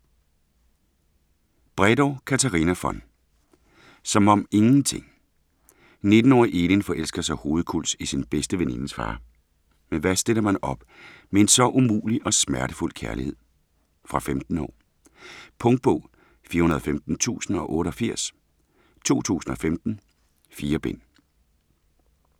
Bredow, Katarina von: Som om ingenting 19-årige Elin forelsker sig hovedkuls i sin bedste venindes far, men hvad stiller man op med en så umulig og smertefuld kærlighed? Fra 15 år. Punktbog 415088 2015. 4 bind.